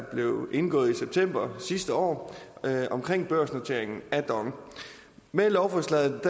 blev indgået i september sidste år om børsnoteringen af dong med lovforslaget